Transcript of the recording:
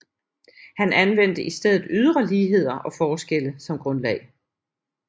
Han anvendte i stedet ydre ligheder og forskelle som grundlag